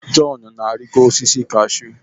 John na-arịgo osisi kashụ.